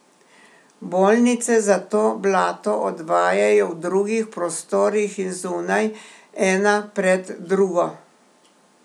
Bolnice zato blato odvajajo v drugih prostorih in zunaj, ena pred drugo.